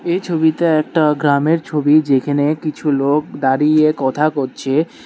এই ছবিটা একটা গ্রামের ছবি যেইখানে কিছু লোক দাঁড়িয়ে কথা কচ্ছে।